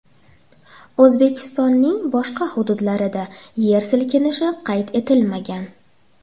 O‘zbekistonning boshqa hududlarida yer silkinishi qayd etilmagan.